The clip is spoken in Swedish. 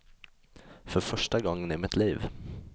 För första gången i mitt liv.